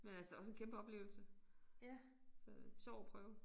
Men altså også en kæmpe oplevelse så sjov at prøve